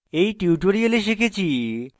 in tutorial আমরা শিখেছি